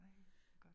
Ej godt